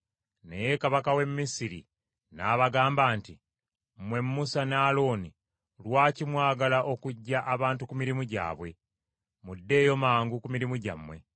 Naye kabaka w’e Misiri n’abagamba nti, “Mmwe Musa ne Alooni, lwaki mwagala okuggya abantu ku mirimu gyabwe? Muddeeyo mangu ku mirimu gyammwe.”